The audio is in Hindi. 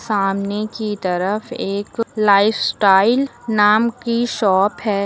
सामने की तरफ एक लाइफस्टाइल नाम की शॉप है।